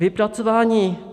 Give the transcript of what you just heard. Vypracování